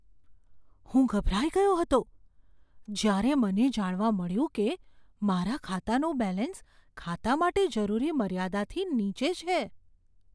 હું ગભરાઈ ગયો હતો જ્યારે મને જાણવા મળ્યું કે મારા ખાતાનું બેલેન્સ ખાતા માટે જરૂરી મર્યાદાથી નીચે છે.